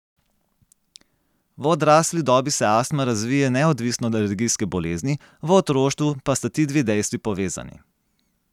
V odrasli dobi se astma razvije neodvisno od alergijske bolezni, v otroštvu pa sta ti dve dejstvi povezani.